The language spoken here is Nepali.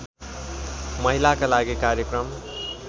महिलाका लागि कार्यक्रम